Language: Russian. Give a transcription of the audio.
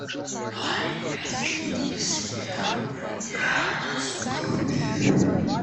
а если не съем я вас убью